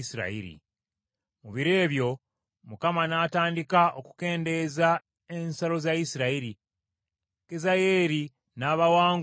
Mu biro ebyo Mukama n’atandika okukendeeza ensalo za Isirayiri. Kazayeeri n’abawangula ng’atandikira